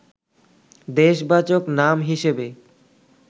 দেশবাচক নাম হিসেবে